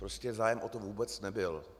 Prostě zájem o to vůbec nebyl.